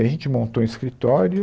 A gente montou um escritório.